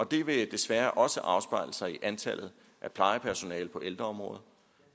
det vil desværre også afspejle sig i antallet af plejepersonale på ældreområdet